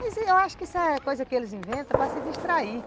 Mas eu acho que isso é coisa que eles inventam para se distrair.